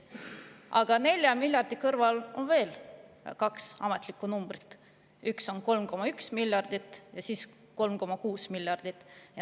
Aga 4 miljardi kõrval on veel kaks ametlikku numbrit: üks on 3,1 miljardit ja siis on 3,6 miljardit.